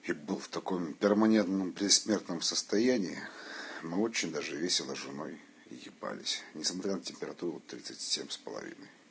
и был в таком перманентном предсмертном состоянии мы очень даже весело с женой ебались несмотря на температуру тридцать семь с половиной